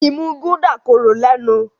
imú Gulder kòrò lénu.